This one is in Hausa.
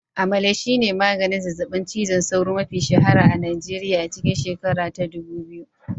Amalara shine maganin zazzabin cizon sauro mafi shahara a Nigeriya a cikin shekara ta dubu biyu